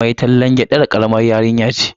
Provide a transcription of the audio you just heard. Mai tallan gyadar karamar yarinya ce sosai.